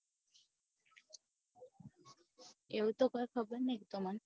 એવું તો કોય ખબર નહિ અમને